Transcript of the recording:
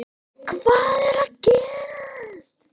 HVAÐ ER AÐ GERAST?